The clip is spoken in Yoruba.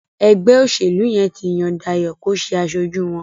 ègbé òṣèlú yén tí Yàn Dayo kò ṣe aṣojú wón.